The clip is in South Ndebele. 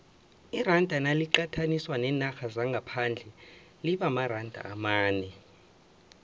iranda naliqathaniswa neenarha zangaphandle limaranda amane